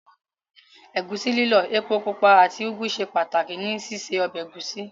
Ẹ̀gúsí lílọ̀, epo pupa àti Ugwu ṣe pàtàkì ní síse ọbẹ̀ ẹ̀gúsí.